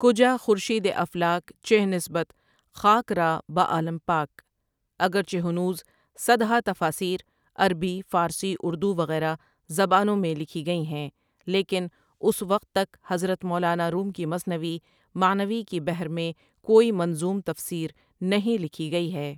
کجاخورشیدِ افلاک چہ نسبت خاک را با عالم پاک اگرچہ ہنوز صدہا تفاسیرعربی، فارسی، اردووغیرہ زبانوں میں لکھی گئی ہیں لیکن اسوقت تک حضرت مولانا روم کی مثنوی معنوی کی بحرمیں کوئی منظوم تفسیرنہیں لکھی گئی ہے ۔